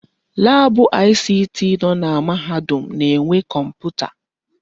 Laabụ ICT nọ na mahadum na-enwe kọmputa.